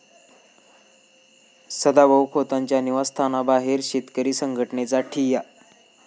सदाभाऊ खोतांच्या निवासस्थानाबाहेर शेतकरी संघटनेचा ठिय्या